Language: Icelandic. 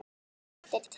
Þetta er til.